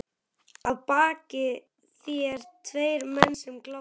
Að baki þér tveir menn sem glápa.